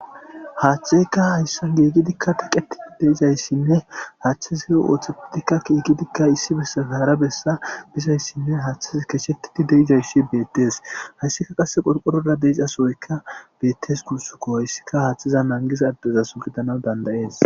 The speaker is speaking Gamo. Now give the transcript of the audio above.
haaththeyka hayssan giigidikka teqetidi deizayssinne haaththizihe ooththetidikka kiigidikka issi bessa fehara bessa bizayssinne haaththi keshettidi deizaysshi beettees hayssika qasse qorqorora deizasoyka beettes kursuko hayssika haaththiza nangisa addezasu gidana dandayees